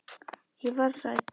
Ég varð hrædd.